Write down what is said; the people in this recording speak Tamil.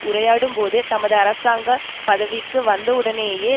உரையாடும் போது தமது அரசாங்க பதவிக்கு வந்தவுடனேயே